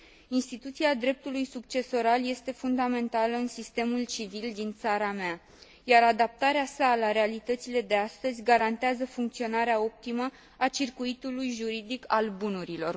Instituția dreptului succesoral este fundamentală în sistemul civil din țara mea, iar adaptarea sa la realitățile de astăzi garantează funcționarea optimă a circuitului juridic al bunurilor.